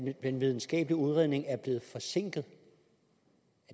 den videnskabelige udredning er blevet forsinket